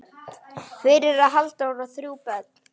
Fyrir á Halldór þrjú börn.